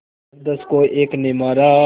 दसदस को एक ने मारा